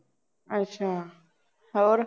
ਅੱਛਾ ਹੋਰ